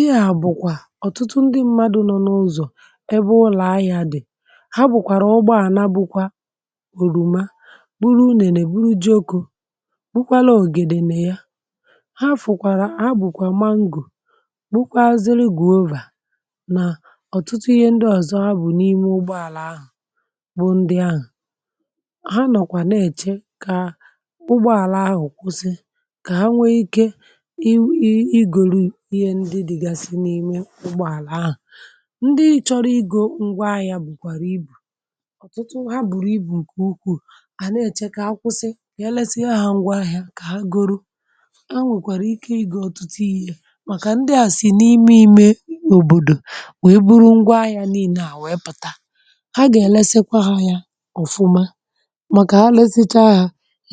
inyà bụ̀kwà ọ̀tụtụ ndị mmadu̇ nọ n’ụzọ̀ ebe ụlọ̀ ahịȧ dị̀ ha bụ̀kwàrà ụgbọàna bụkwa òrùma buru nènè buru jiokȯ bu kwala ògèdè nè ya ha fụ̀kwàrà ha bụ̀kwà mangò bu kwa azịrị gwaovà nà ọ̀tụtụ ihe ndị àzụ ha bù n’ime ụgbọàlà ahụ̀ bụ̀ ndị ahụ̀ ha nọ̀kwà na-èche kà ụgbọàlà ahụ̀ kwụsị kà ha nwee ikė ụgbọàlà ahụ̀ ndị chọrọ igȯ ngwa ahịȧ bụ̀kwàrà ibù ọtụtụ ha bùrù ibù ǹkẹ ukwù à na-ẹ̀chẹ kà akwụsị èlesie ahụ̀ ngwa ahịȧ kà ha goro a nwèkwàrà ike ịgȧ ọtụtụ ihė màkà ndị à sì n’ime imẹ òbòdò wee buru ngwa ahịȧ nii̇nė à wèe pụ̀ta ha gà-ẹ̀lẹsẹkwa ha yȧ ọ̀fụma màkà ha lẹs ichȧ ahụ̀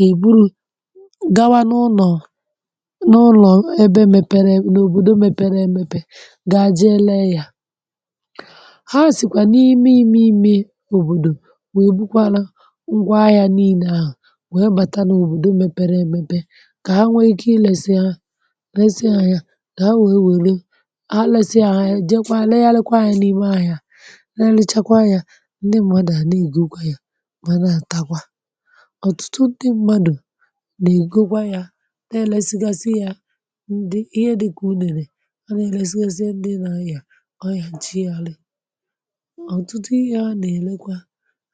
èburu gawa n’ụnọ̀ ga-ejì elėė yà ha sị̀kwà n’ime imi imi̇ òbòdò wee bukwa anọ̀ ngwa ahịȧ niile ahụ̀ wee bata n’òbòdò mepere emepe kà ha nwee ike ilėsị ha lėsị ahịȧ kà ha wee wèle ha lèsị ahịa je kwa le yalėkwa ahịȧ n’ime ahịȧ le leachakwa yȧ ndị mmadụ̀ a na-ègokwa yà manȧ takwa ọ̀tụtụ ndị mmadụ̀ nà ègokwa yȧ ha na-elėzėezė ndị nȧ anyị̀ à ọyà nchi yȧ àlị̀ ọ̀tụtụ ihe a nà-èlekwa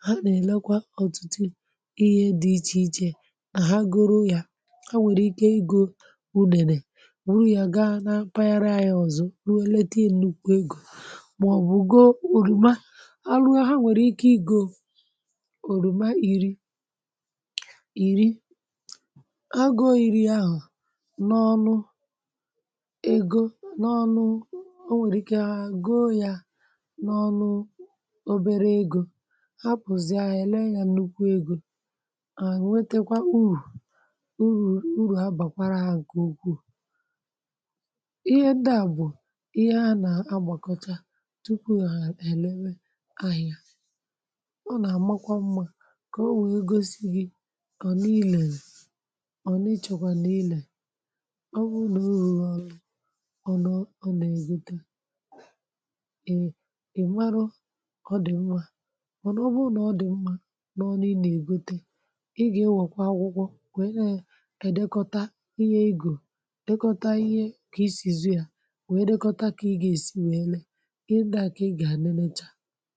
ha nà-èlekwa ọ̀tụtụ ihe dị̇ ichè ichè nà ha gụrụ ya ha nwèrè ike igȯ unèrè rụrụ ya gaa na mpaghara yȧ ọ̀zọ ruo elete nnukwu egȯ màọ̀bụ̀ go òrùma a ruo ha nwèrè ike igȯ òrùma ìri ìri agụọ ìri ahụ̀ n’ọnụ n’ọnụ o nwèrè ike ahụ̀ go yȧ n’ọnụ obere egȯ hapụ̀zị̀ ahụ̀ èle nya nnukwu egȯ à nwetekwa u̇urù u̇uru̇ ha bàkwara ha ǹkè ukwuù ihe ndị à bụ̀ ihe a nà-agbàkọcha tupu hà èlewe ahịȧ ọ nà-àmakwa mmȧ kà o nwèe gosi gi ọ̀ n’ilèlè ọ̀ n’ịchọ̇kwà n’ilè è mara ọ dị̀ mma ọ̀ nọgbu nà ọ dị̀ mma n’ọnị nà-ègwute ị gà-ewèkwa akwụkwọ nwèe neè hà dekọ̀tà ihe egȯ dekọ̀tà ihe kà isìzì hà nwèe dekọ̀tà kà ị gà-èsi wèe neè ị ndị à kà ị gà-anịlechà